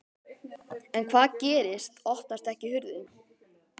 En hvað gerist. opnast ekki hurðin!